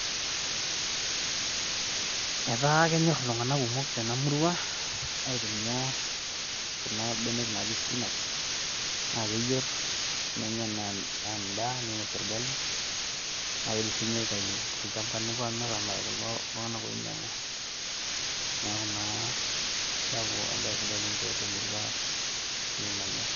Etaabkenyor iltung'ana kumok tena murua aitumia kuna benek naji spinach naa keyer nenya anaa endaa neinosie olgali, naa keidim aitayu tolchamba newoi amir amiraki itung'ana oinyang'u, neaku naa keaku embai sidai tiatua emurua nekimanya.